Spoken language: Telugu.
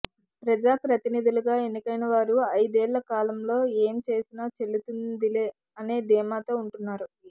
ప్రజాప్రతినిధులుగా ఎన్నికైన వారు ఐదేళ్ళ కాలంలో ఏం చేసినా చెల్లుతుందిలే అనే ధీమాతో ఉంటున్నారు